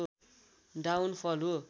down फल हो